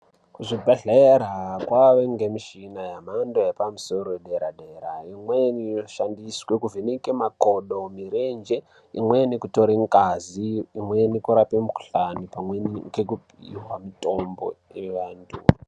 Kuzvibhehlera kwane ngemushina yemhando yepamusoro yedera dera imweni inoshandiswa kuvheneke makodo mirenje imweni kutore ngazi imweni kurape mukuhlani pamwe ngekupiwa mitombo yeantu.